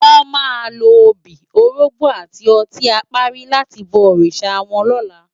Wò má ló óbi, órógbò áti òtin àpári làti bò órisá wòn lòlá